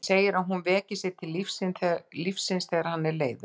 Hann segir að hún veki sig til lífsins þegar hann er leiður.